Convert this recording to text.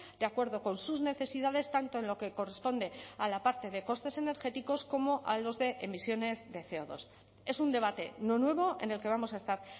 de acuerdo con sus necesidades tanto en lo que corresponde a la parte de costes energéticos como a los de emisiones de ce o dos es un debate no nuevo en el que vamos a estar